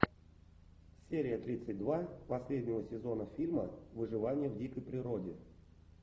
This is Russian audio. серия тридцать два последнего сезона фильма выживание в дикой природе